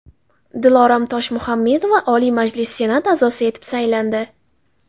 Dilorom Toshmuhammedova Oliy Majlis Senat a’zosi etib saylandi.